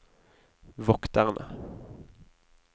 vokterne